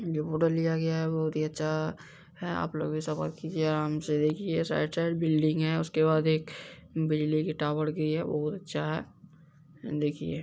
जो फोटो लिया गया है वो बहुत ही अच्छा है आप लोग ऐसा मत कीजिये आराम से देखिये साइड-साइड बिल्डिंग है उसके बाद एक बिजली के टावर की है वो बहुत अच्छा है देखिए----